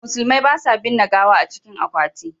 Musulmai ba sa binne gawa a cikin akwati.